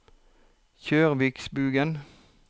Kjørsvikbugen